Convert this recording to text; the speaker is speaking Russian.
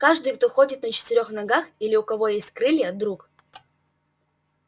каждый кто ходит на четырёх ногах или у кого есть крылья друг